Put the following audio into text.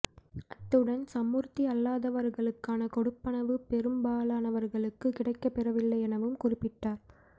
அத்துடன் சமூர்த்தி அல்லாதவர்களுக்கான கொடுப்பனவு பெறும்பாலனவர்களுக்கு கிடைக்க பெறவில்லை எனவும் குறிப்பிட்டார்